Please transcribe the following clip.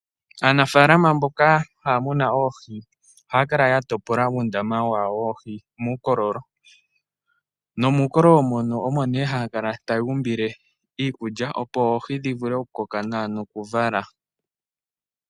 Aanafalama mboka haya munu oohii oha kala yatopola uundama wawo woohii mukololo, nomukololo mono omo ne hakala tayumbile iikulya opo oohii dhivule okukoka nawa nokuvala.